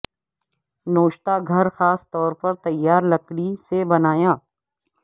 نوشتہ گھر خاص طور پر تیار لکڑی سے بنایا